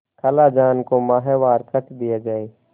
खालाजान को माहवार खर्च दिया जाय